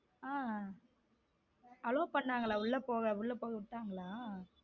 ஹம் allow பண்ணாங்களா உள்ள போக போக விட்டங்கள.